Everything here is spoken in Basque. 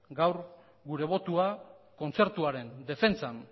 gaur gure botoa kontzertuaren defentsan